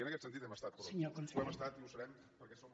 i en aquest sentit hem estat curosos ho hem estat i ho serem perquè som